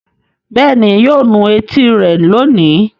Bẹ́ẹ̀ ni, yóò nu etí rẹ̀ lónìí.